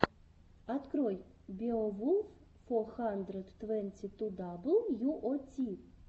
открой беовулф фо хандрэд твэнти ту дабл ю о ти